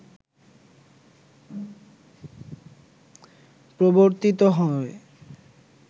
প্রবর্তিত হয়